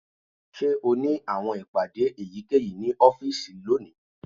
Ṣe o ni awọn ipade eyikeyi ni ọfiisi loni?